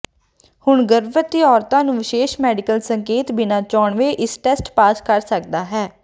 ਹੁਣ ਗਰਭਵਤੀ ਔਰਤ ਨੂੰ ਵਿਸ਼ੇਸ਼ ਮੈਡੀਕਲ ਸੰਕੇਤ ਬਿਨਾ ਚੋਣਵੇ ਇਸ ਟੈਸਟ ਪਾਸ ਕਰ ਸਕਦਾ ਹੈ